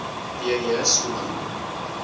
p j schoeman